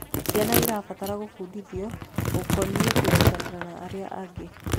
Ciana irabatara gubundithio gukonie kunyitanĩra na arĩa angi